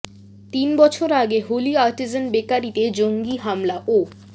তিন বছর আগে হোলি আর্টিজান বেকারিতে জঙ্গি হামলা ও